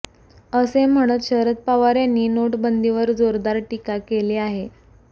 असे म्हणत शरद पवार यांनी नोट बंदीवर जोरदार टीका केली आहे